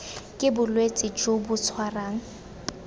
ke bolwetse jo bo tshwarang